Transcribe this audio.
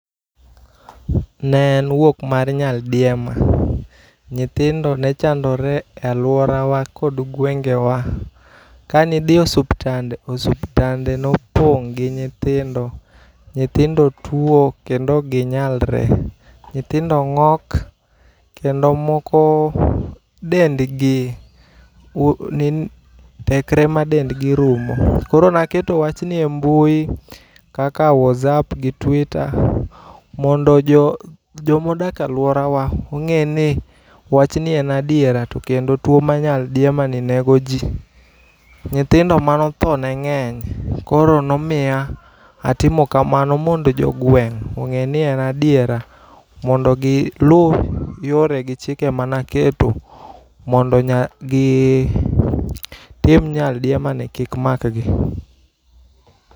Ne en wuok mar nyaldiema. Nyithindo ne chandore e aluorawa kod gwengewa. Kani dhi e osuptande, osuptande nopong' gi nyithindo. Nyithindo tuo kendo ok ginyalre. Nyithindo ng'ok kendo moko dendgi tekre ma dendgi rumo. Koro naketo wach ni embui kaka WhatsApp gi Twitter mondo jomodak aluora wa ong'e ni wach ni en adiera to kendo tuo ma nyaldiema ni nego ji. Nyithindo manotho ne ng'eny. Koro nomiya atimo kamano mondo jogweng' ong'e ni en adiera mondo gi lu yore gi chike manaketo mondo gitim nyaldiema ni kik mak gi.